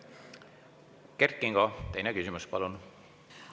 Kert Kingo, teine küsimus, palun!